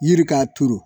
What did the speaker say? Yiri k'a turu